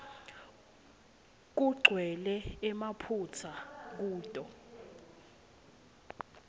kugcwele emaphutsa kuto